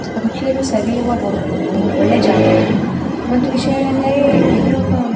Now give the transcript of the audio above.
ರುಚಿಯಲು ಸವಿಯುವ ಒಂ ಒಳ್ಳೆಯ ಜಾಗ ಇದು ಒಂದು ವಿಷಯ ಏನೆಂದರೆ ಎಲ್ಲೂ --